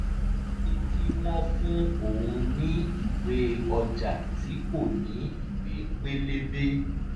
ó ní kí wọ́n fún òun ní ìwé ọjà tí kò ní ìwé pélébé